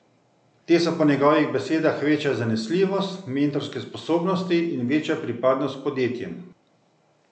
Te so po njegovih besedah večja zanesljivost, mentorske sposobnosti in večja pripadnost podjetjem.